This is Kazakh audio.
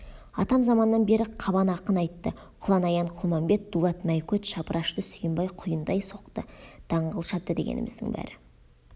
атам заманнан бері қабан ақын айтты құланаян құлмамбет дулат мәйкөт шапырашты сүйімбай құйындай соқты даңғыл шапты дегеніміздің бәрі